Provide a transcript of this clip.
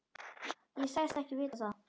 Ég sagðist ekki vita það.